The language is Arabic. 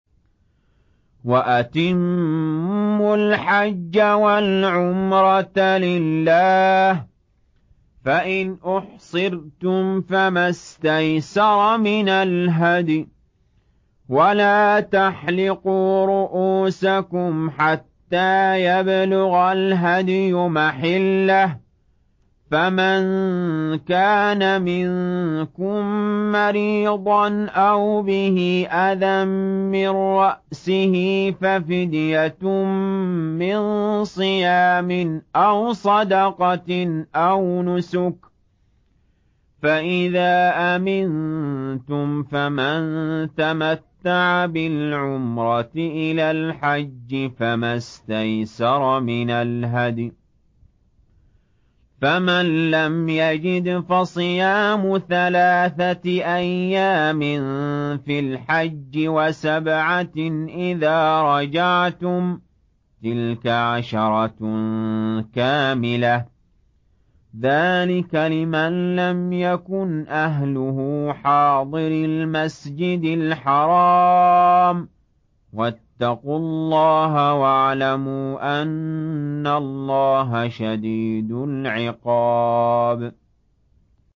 وَأَتِمُّوا الْحَجَّ وَالْعُمْرَةَ لِلَّهِ ۚ فَإِنْ أُحْصِرْتُمْ فَمَا اسْتَيْسَرَ مِنَ الْهَدْيِ ۖ وَلَا تَحْلِقُوا رُءُوسَكُمْ حَتَّىٰ يَبْلُغَ الْهَدْيُ مَحِلَّهُ ۚ فَمَن كَانَ مِنكُم مَّرِيضًا أَوْ بِهِ أَذًى مِّن رَّأْسِهِ فَفِدْيَةٌ مِّن صِيَامٍ أَوْ صَدَقَةٍ أَوْ نُسُكٍ ۚ فَإِذَا أَمِنتُمْ فَمَن تَمَتَّعَ بِالْعُمْرَةِ إِلَى الْحَجِّ فَمَا اسْتَيْسَرَ مِنَ الْهَدْيِ ۚ فَمَن لَّمْ يَجِدْ فَصِيَامُ ثَلَاثَةِ أَيَّامٍ فِي الْحَجِّ وَسَبْعَةٍ إِذَا رَجَعْتُمْ ۗ تِلْكَ عَشَرَةٌ كَامِلَةٌ ۗ ذَٰلِكَ لِمَن لَّمْ يَكُنْ أَهْلُهُ حَاضِرِي الْمَسْجِدِ الْحَرَامِ ۚ وَاتَّقُوا اللَّهَ وَاعْلَمُوا أَنَّ اللَّهَ شَدِيدُ الْعِقَابِ